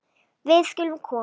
Við skulum koma